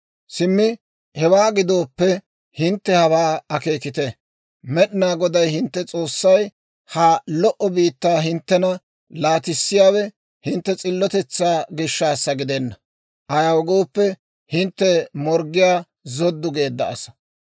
Simmi hewaa gidooppe hintte hawaa akeekite; Med'inaa Goday hintte S'oossay ha lo"o biittaa hinttena laatissiyaawe hintte s'illotetsaa gishshaassa gidenna; ayaw gooppe, hintte morggiyaa zoddu geedda asaa.